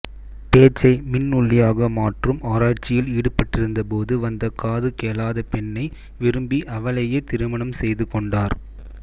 பேச்சை மின் ஒலியாக மாற்றும் ஆராய்ச்சியில் ஈடுபட்டிருந்தபோது வந்த காது கேளாத பெண்ணை விரும்பி அவளையே திருமணம் செய்துகொண்டார்